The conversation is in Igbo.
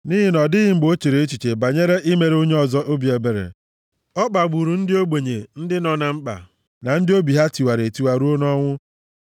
Nʼihi na ọ dịghị mgbe o chere echiche banyere imere onye ọzọ obi ebere, ọ kpagburu ndị ogbenye, ndị nọ na mkpa na ndị obi ha tiwara etiwa ruo nʼọnwụ.